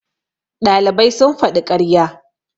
ɗalibai sun faɗi ƙarya